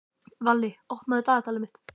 Valli, opnaðu dagatalið mitt.